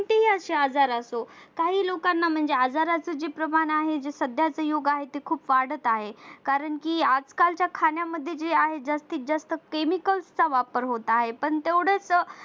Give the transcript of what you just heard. हे असे आजार असो काही लोकांना जे आजाराचं जे प्रमाण आहे जे सध्याच युग आहे ते वाढत आहे कारण कि आजकालच्या खाण्यामध्ये जे आहे जास्तीत जास्त chemical चा वापर होत आहे पण तेवढंच